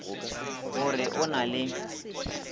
go re o na le